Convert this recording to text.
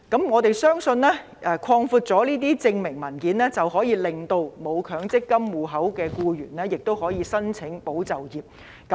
我們相信擴大這些證明文件的種類，可以令僱主為沒有強積金戶口的僱員申請"保就業"計劃。